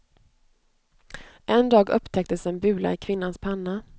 En dag upptäcktes en bula i kvinnans panna.